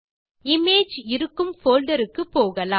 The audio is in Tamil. இமேஜ் இருக்கும் போல்டர் க்கு போகலாம்